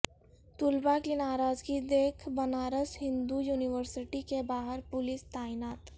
طلبا کی ناراضگی دیکھ بنارس ہندو یونیورسٹی کے باہر پولس تعینات